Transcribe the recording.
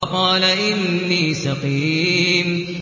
فَقَالَ إِنِّي سَقِيمٌ